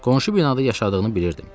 Qonşu binada yaşadığını bilirdim.